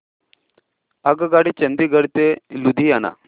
आगगाडी चंदिगड ते लुधियाना